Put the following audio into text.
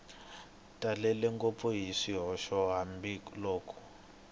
talele ngopfu hi swihoxo hambiloko